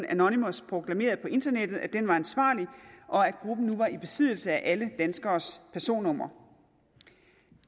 anonymous proklamerede på internettet at den var ansvarlig og at gruppen nu var i besiddelse af alle danskeres personnummer